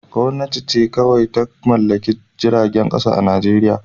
Gwamnati ce kawai ta mallaki jiragen kasa a Najeriya